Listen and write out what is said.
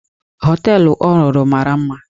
Họteelụ ọ rụrụ mara mma.